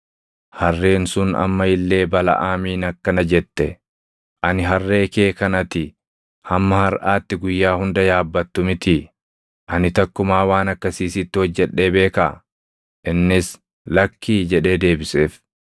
Harreen sun amma illee Balaʼaamiin akkana jette; “Ani harree kee kan ati hamma harʼaatti guyyaa hunda yaabbattu mitii? Ani takkumaa waan akkasii sitti hojjedhee beekaa?” Innis, “Lakkii” jedhee deebiseef.